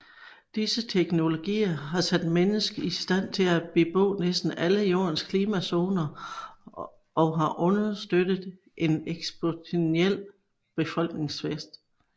Disse teknologier har sat mennesket i stand til at bebo næsten alle jordens klimazoner og har understøttet en eksponentiel befolkningsvækst